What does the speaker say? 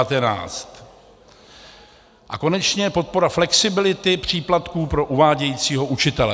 A konečně podpora flexibility příplatků pro uvádějícího učitele.